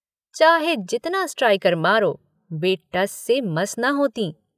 चाहे जितना स्ट्राइकर मारो वे टस से मस न होतीं।